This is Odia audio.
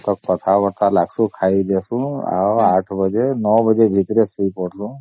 ସବୁ କଥା ବାର୍ତା ଲାଗୂସୁ ଖାଇ ଦିସୁ ଆଉ ୮ ବାଜେ ୯ ବାଜେ ଭିତରେ ଶୋଇ ପଡୁ଼ସୁ